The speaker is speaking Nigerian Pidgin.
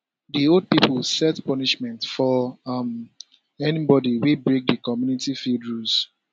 the old pipo set punishment for um anybody wey break the community field rules